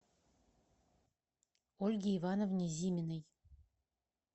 ольге ивановне зиминой